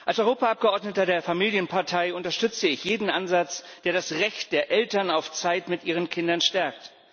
Als Europaabgeordneter der Familienpartei unterstütze ich jeden Ansatz, der das Recht der Eltern auf Zeit mit ihren Kindern stärkt.